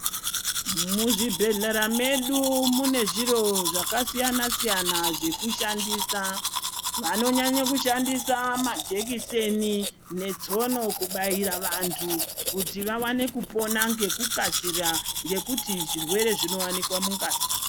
Muzvibhedhlera medu mune zviro zvakasiyana siyana zvekushandisa vanonyanye kushandisa majekiseni netsono kubaira vantu kuti vawane kupona ngekukasira ngekuti zvirwere izvi zvinowanikwa mungazi.